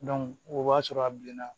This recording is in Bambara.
o b'a sɔrɔ a bilenna